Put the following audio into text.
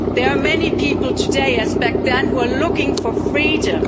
There are many people today, as back then, who are looking for freedom.